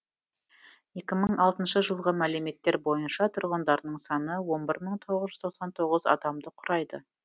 екі мың алтыншы жылғы мәліметтер бойынша тұрғындарының саны он бір мың тоғыз жүз тоқсан тоғыз адамды құрайды